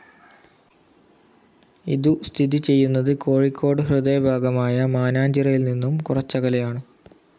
ഇതു സ്ഥിതി ചെയ്യുന്നത് കോഴിക്കോട് ഹൃദയഭാഗമായ മാനാഞ്ചിറയിൽ നിന്നും കുറച്ചകലെയാണ്.